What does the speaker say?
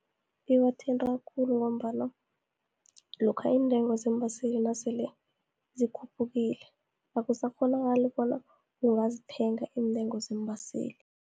Ibathinta khulu, ngombana lokha iintengo zeembaseli nasele zikhuphukile, akusakghonakali bona ungazithenga iintengo zeembaseli.